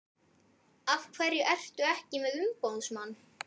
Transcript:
Af hverju ertu ekki með umboðsmann?